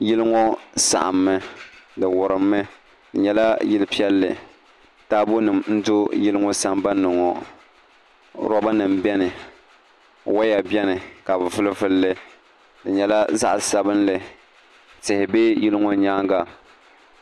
Yili ŋɔ saɣammi di wurimmi di nyɛla yili piɛlli taabo nim n do yili ŋɔ sambanni ŋɔ roba nim biɛni woya biɛni ka bi vuli vulli di nyɛla zaɣ sabinli tihi bɛ yili ŋɔ nyaanga